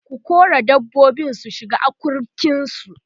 ku kora dabbobin su shiga akurkin su!